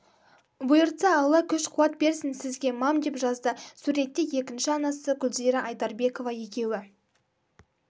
бұйыртса аллаі күш қуат берсін сізге мам деп жазды суретте екінші анасы гүлзира айдарбекова екеуі